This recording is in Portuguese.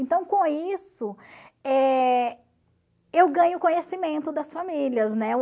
Então, com isso, eh eu ganho conhecimento das famílias, né?